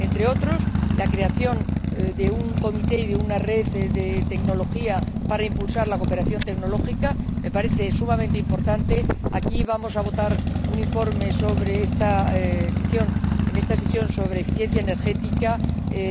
Entre otros, la creación de un comité y de una red de tecnología para impulsar la cooperación tecnológica me parece sumamente importante aquí vamos a votar un informe, en esta sesión, sobre eficiencia energética,